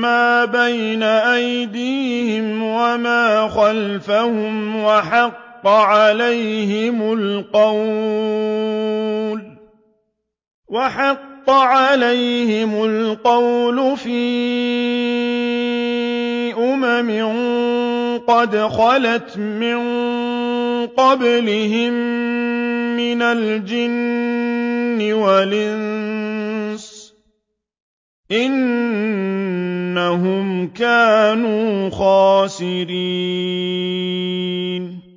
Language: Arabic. مَّا بَيْنَ أَيْدِيهِمْ وَمَا خَلْفَهُمْ وَحَقَّ عَلَيْهِمُ الْقَوْلُ فِي أُمَمٍ قَدْ خَلَتْ مِن قَبْلِهِم مِّنَ الْجِنِّ وَالْإِنسِ ۖ إِنَّهُمْ كَانُوا خَاسِرِينَ